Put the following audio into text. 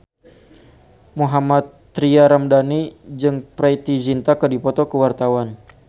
Mohammad Tria Ramadhani jeung Preity Zinta keur dipoto ku wartawan